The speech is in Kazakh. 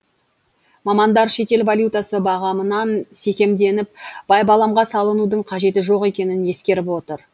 мамандар шетел валютасы бағамынан секемденіп байбаламға салынудың қажеті жоқ екенін ескеріп отыр